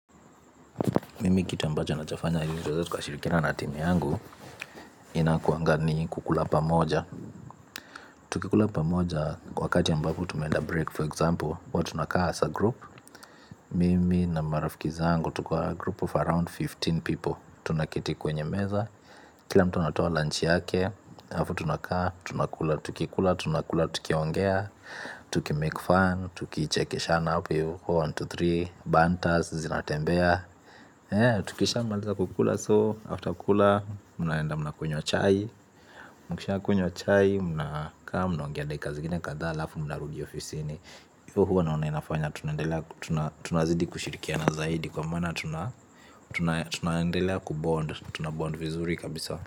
Mimi kitu ambacho nachofanya ili tuweze tuka shirikiana na timu yangu. Inakuanga ni kukula pamoja. Tukikula pamoja kwa wakati ambapo tumeenda break for example hua tunakaa as a group. Mimi na marafiki zaangu tuko na group of around kumi na tano people. Tunaketi kwenye meza. Kila mtu natoa lunch yake. Afu tunakaa tunakula tukikula tunakula tukiongea. Tukimake fun tukichekeshana apo hivyo moja, 2to tatu. Bantas zinatembea. Tukisha maliza kukula soo, after kukula, mnaenda mna kunywa chai, mna kaa mna ongea dakika zingine kadhaa halafu mna rudi ofisini. So huwa naona inafanya, tunazidi kushirikia na zaidi kwa mana tuna tunaendelea kubond, tunabond vizuri kabisa.